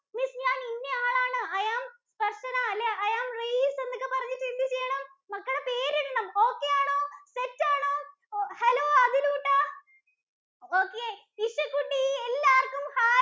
Miss ഞാൻ ഇന്ന ആളാണ് I am ദര്‍ശന, അല്ലേ I am റയിസ് എന്നൊക്കെ പറഞ്ഞിട്ടു എന്ത് ചെയ്യണം? മക്കള് പേരിടണം okay ആണോ? set ആണോ? Hello അഖിലൂട്ടാ, okay ഇസ കുട്ടി എല്ലാര്‍ക്കും ഹായ്.